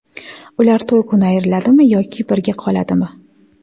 Ular to‘y kuni ayriladimi yoki birga qoladimi?